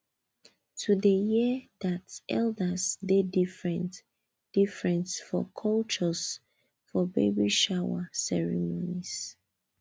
to dey hear that elders dey different different for cultures for baby shower ceremonies